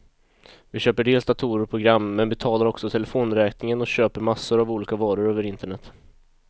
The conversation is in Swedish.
Vi köper dels datorer och program, men betalar också telefonräkningen och köper massor av olika varor över internet.